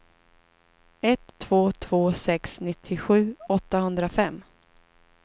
ett två två sex nittiosju åttahundrafem